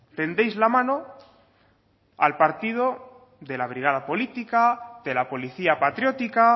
tendéis la mano al partido de la brigada política de la policía patriótica